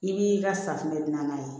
I b'i ka safunɛ dilan